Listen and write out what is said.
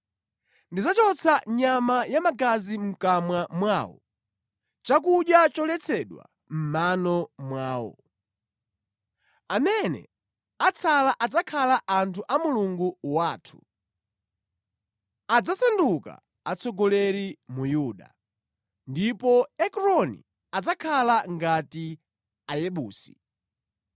Ndidzachotsa nyama ya magazi mʼkamwa mwawo, chakudya choletsedwa mʼmano mwawo. Amene atsala adzakhala anthu a Mulungu wathu, adzasanduka atsogoleri mu Yuda, ndipo Ekroni adzakhala ngati Ayebusi.